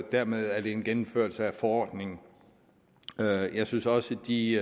dermed er det en gennemførelse af forordningen jeg synes også at de